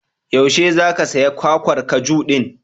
Yaushe za ka saya kwakwar kaju din?